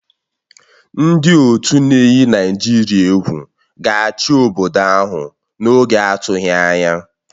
Ndị otu ndị na-eyi Naịjirịa egwu ga-achị obodo ahụ n'oge adịghị anya